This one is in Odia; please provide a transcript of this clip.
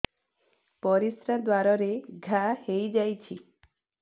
ପରିଶ୍ରା ଦ୍ୱାର ରେ ଘା ହେଇଯାଇଛି